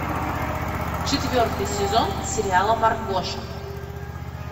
четвертый сезон сериала маргоша